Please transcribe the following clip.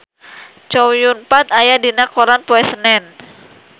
Chow Yun Fat aya dina koran poe Senen